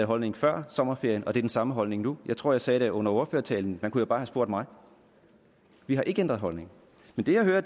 holdning før sommerferien og det er den samme holdning nu jeg tror jeg sagde det i ordførertalen man kunne jo bare have spurgt mig vi har ikke ændret holdning men det jeg hører